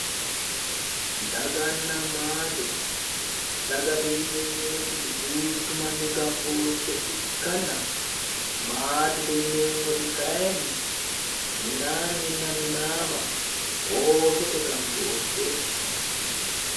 daganna maate dagate yineemmoti duuchu manni gambooshshe ikkanna maatete yineemmoti kayiinni minaanninna minaama oosote gambooshsheeti.